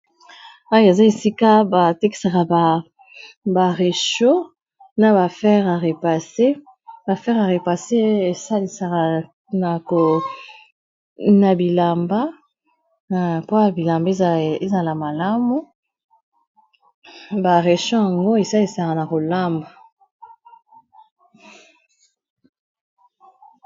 Oyo eza esika ba tekisaka ba ba récho na ba fere ya repase esalisaka na bilamba mpoya bilamba ezala malamu ba recho yango esalisaka na kolamba.